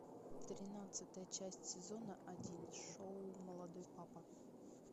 тринадцатая часть сезона один шоу молодой папа